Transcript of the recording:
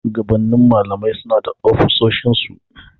Shugabannin malamai suna da ofisoshin su.